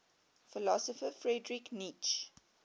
philosopher friedrich nietzsche